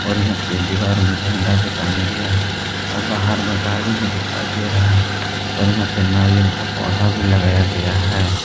और यहां पे दीवार में झंडा भी टांगा गया है और बाहर मे गाड़ी भी दिखाई दे रहा और यहां पे नारियल का पौधा भी लगाया गया है।